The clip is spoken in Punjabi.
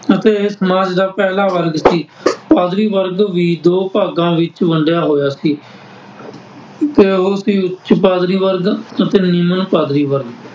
ਅਤੇ ਇਹ ਸਮਾਜ ਦਾ ਪਹਿਲਾ ਵਰਗ ਸੀ । ਪਾਦਰੀ ਵਰਗ ਵੀ ਦੋ ਭਾਗਾਂ ਵਿੱਚ ਵੰਡਿਆ ਹੋਇਆ ਸੀ ਤੇ ਉਹ ਸੀ ਉੱਚ ਪਾਦਰੀ ਵਰਗ ਅਤੇ ਨਿਮਨ ਪਾਦਰੀ ਵਰਗ